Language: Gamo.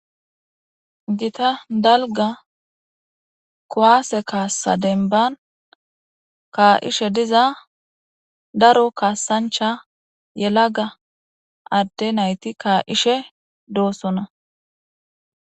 Gita dalga kuwase kassa demban kaa'ishe diza daro kasancha yelaga ade nayti ka'ishe de'osona.